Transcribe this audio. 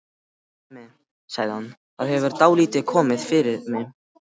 Mimi, sagði hann, það hefur dálítið komið fyrir mig